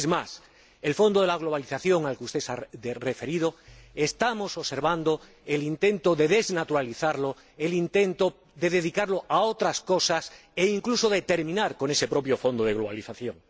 Es más, respecto del fondo de globalización al que usted se ha referido, estamos observando el intento de desnaturalizarlo, el intento de dedicarlo a otras cosas, e incluso de terminar con ese propio fondo de globalización.